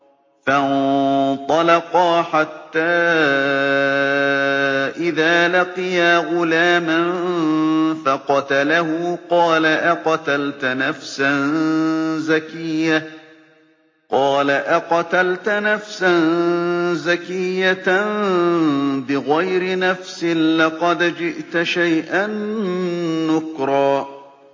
فَانطَلَقَا حَتَّىٰ إِذَا لَقِيَا غُلَامًا فَقَتَلَهُ قَالَ أَقَتَلْتَ نَفْسًا زَكِيَّةً بِغَيْرِ نَفْسٍ لَّقَدْ جِئْتَ شَيْئًا نُّكْرًا